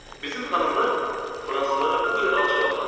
Bizim xanımlar fransızlara bu qədər alçalırlar.